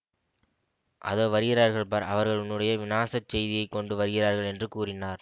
அதோ வருகிறார்கள் பார் அவர்கள் உன்னுடைய விநாசச் செய்தியை கொண்டு வருகிறார்கள் என்று கூறினார்